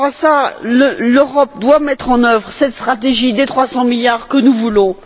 Par rapport à cela, l'Europe doit mettre en œuvre cette stratégie des 300 milliards que nous voulons.